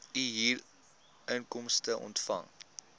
u huurinkomste ontvang